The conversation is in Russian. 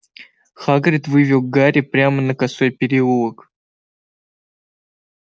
хагрид вывел гарри прямо на косой переулок